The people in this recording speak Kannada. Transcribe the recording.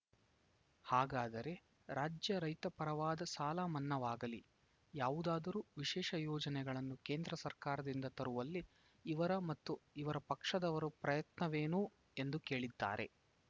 ಹಾಗಾದರೆ ರಾಜ್ಯ ರೈತ ಪರವಾದ ಸಾಲ ಮನ್ನಾವಾಗಲೀ ಯಾವುದಾದರೂ ವಿಶೇಷ ಯೋಜನೆಗಳನ್ನು ಕೇಂದ್ರ ಸರ್ಕಾರದಿಂದ ತರುವಲ್ಲಿ ಇವರ ಮತ್ತು ಇವರ ಪಕ್ಷದವರ ಪ್ರಯತ್ನವೇನು ಎಂದು ಕೇಳಿದ್ದಾರೆ